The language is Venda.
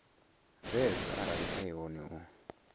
zwavho arali e hone u